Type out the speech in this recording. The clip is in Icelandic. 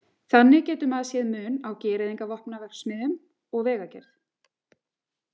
Þannig geti maður séð mun á gereyðingarvopnaverksmiðjum og vegagerð.